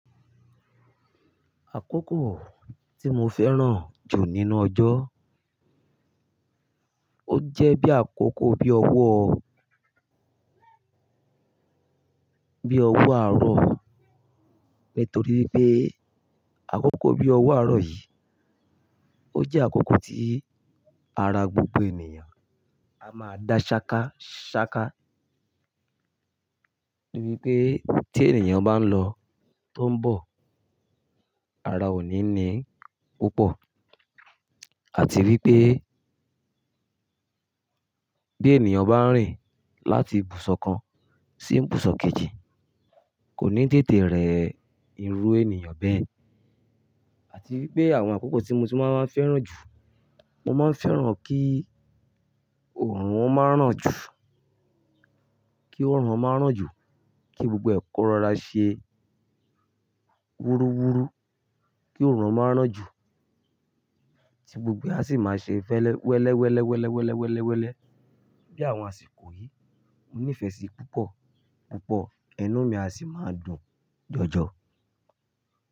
Àkókò tí mo fẹ́ràn jù nínú ọjọ́, ó jẹ́ bí àkókò bí ọwọ́, bí ọwọ́ àárọ̀. Nítorí pé àkókò bí ọwọ́ àárọ̀ yìí, ó jẹ́ àkókò tí ara gbogbo ènìyàn a máa dá ṣááká ṣááká. Nítorí pé tí ènìyàn bá ń lọ, tó ń bọ̀, ara òní ni púpọ̀. Àti wí pé, bí ènìyàn bá ń rìn láti ibùsọ̀ kan sí ibùsọ̀ kejì, kò ní tètè rẹ́ irú ènìyàn bẹ́ẹ̀. Àti wí pé àwọn àkókò tí mo ti máa ń fẹ́ràn jù, mo máa ń fẹ́ràn kí oòrùn ọmọ á rán jù, kí oòrùn ọmọ á rán jù, kí gbogbo ẹ̀kọ́ rọra ṣe wúruwúru, kí oòrùn ọmọ á rán jù tí gbogbo a sì máa ṣe fẹ́lẹ́ wẹ́lẹ́, wẹ́lẹ́, wẹ́lẹ́, wẹ́lẹ́, wẹ́lẹ́, wẹ́lẹ́ bí àwọn àsìkò yìí. Mo nífẹ̀ẹ́ sí i púpọ̀, púpọ̀. Inu mi a sì máa dùn jọjọ.